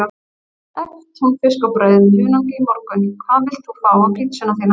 Egg, túnfisk og brauð með hunangi í morgun Hvað vilt þú fá á pizzuna þína?